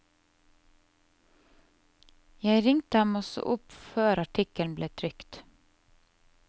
Jeg ringte ham også opp før artikkelen ble trykt.